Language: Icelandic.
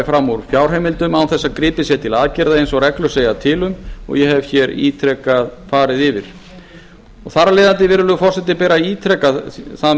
úr fjárheimildum án þess að gripið sé til aðgerða eins og reglur segja til um og ég hef ítrekað farið yfir þar af leiðandi virðulegur forseti ber að ítreka mikilvægi